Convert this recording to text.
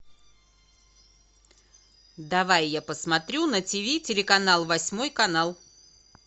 давай я посмотрю на тв телеканал восьмой канал